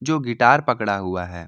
जो गिटार पकड़ा हुआ है।